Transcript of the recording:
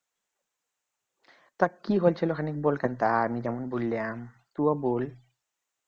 তা কি হয়েছিল খানিক বলকানটা আমি যেমন বললাম তুইও বল